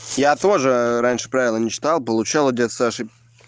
я тоже раньше правила не читал получал от дяди саши